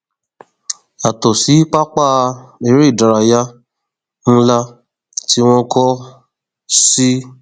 yàtọ sí pápá eré ìdárayá nlá tí wọn kọ sí